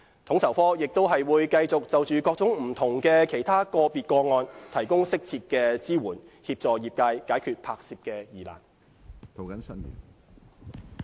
統籌科亦會繼續就着各種不同的其他個別個案，提供適切的支援，協助業界解決拍攝疑難。